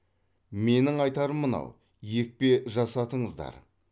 менің айтарым мынау екпе жасатыңыздар